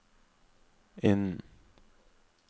innen